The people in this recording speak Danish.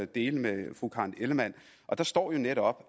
dele med fru karen ellemann der står netop